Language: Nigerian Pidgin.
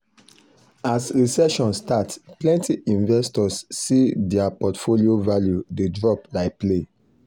as recession start plenty investors see dir portfolio value de drop like play